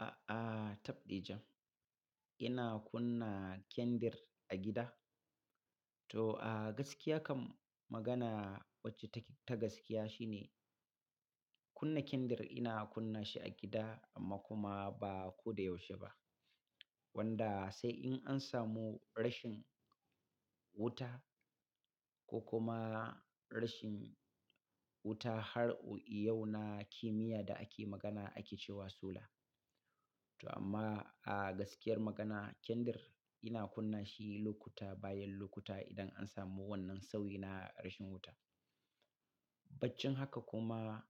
A'a, tabɗi jam. Ina kunna kendir a gida. To, a gaskiya kam magana wacce take ta gaskiya shi ne kunna kendar ina kunna shi a gida amma kuma ba ko da yaushe ba. Wanda sai in an samu rashin wuta ko kuma rashin wuta har iyau na kimiyya da ake magana ake cewa sula. To amma a gaskiyar magana, kendir ina kunna shi lokuta bayan lokuta idan an samu wannan sauyi na rashin wuta. Baccin haka kuma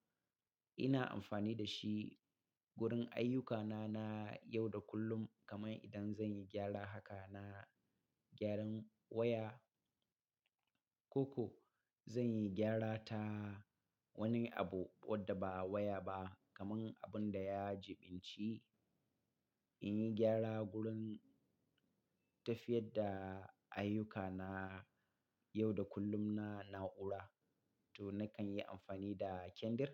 ina amfani da shi wurin ayyukana na yau da kullum. Kaman idan zan yi gyara haka na gyaran waya ko ko zan yi gyara ta wani abu wadda ba waya ba kaman abun da ya jiɓinci. In yi gyara wurin tafiyar da ayyuka na yau da kullum na na'ura to na kan yi amfani da kendar.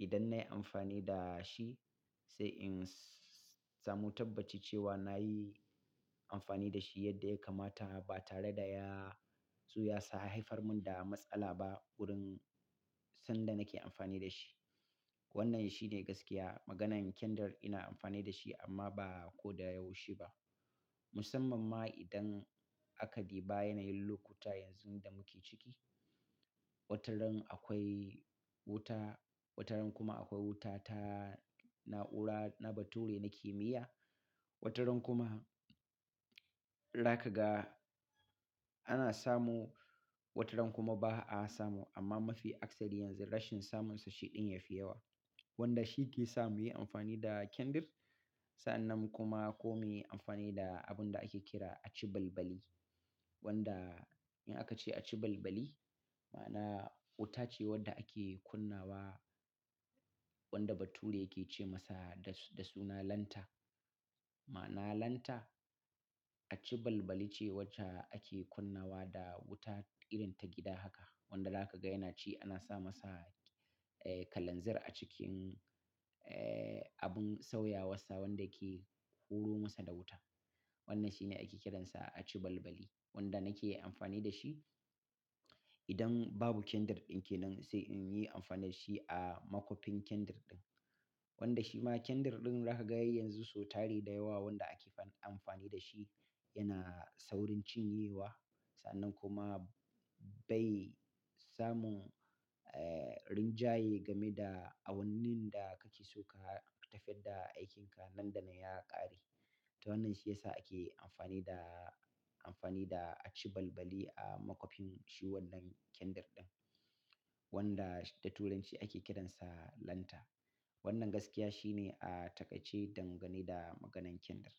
Idan nayi amfani da shi sai in samu tabbaci cewa nayi amfani da shi yadda ya kamata ba tare da ya ya sa ya haifar mun da matsala ba wurin yanda nake amfani da shi. Wannan sh ine gaskiya. Maganan kendir ina amfani da shi amma ba ko da yaushe ba. Musamman ma idan aka duba yanayin lokuta yanzu da muke ciki. Wataran akwai wuta, wataran kuma akwai wuta ta na'ura na bature na kimiyya. Wataran kuma za ka ga ana samu wataran kuma ba'a samu amma mafi akasari yanzu rashin samu nsa shi ɗin ya fi yawa. Wanda shi ke sa muyi amfani da kendir sa'annan kuma ko muyi amfani da abun da ake kira aci balbali. Wanda in aka ce aci balbali ma'ana wuta ce wadda ake kunna wa wanda bature yake ce masa da suna lanta. Ma'ana lanta aci balbali ce wacce ake kunna wa da wuta irin ta gida haka. Wanda za ka ga yana ci ana sa masa, kalanzir a cikin abun sauya wassa wanda yake huro ma sa da wuta. Wannan shine ake kiran sa aci balbali wanda na ke amfani da shi idan babu kendir ɗin ke nan sai in yi amfani da shi a makwafin kendar ɗin. Wanda shi ma kendir ɗin za ka ga yanzu sau tari da yawa wanda ake amfani da shi yana saurin cinyewa sannan kuma bai samu rinjaye game da awannin da kake so ka tafiyar da aikinka nan da nan ya ƙare. To wannan shi ya sa ake amfani da, amfani da achi balbali a makwafin shi wannan kendar ɗin wanda da turanci ake kiransa lanta. Wannan gaskiya shine a taƙaice dangane da maganan kendir.